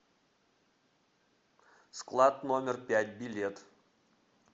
склад номер пять билет